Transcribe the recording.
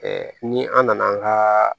ni an nana an ka